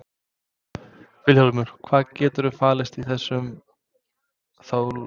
Vilhjálmur, hvað getur falist í þessu þá lögbroti?